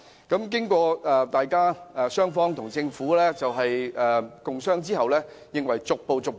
經過與政府共商後，認為應逐步進行。